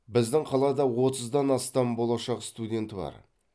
біздің қалада отыздан астам болашақ студенті бар